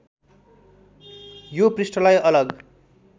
यो पृष्ठलाई अलग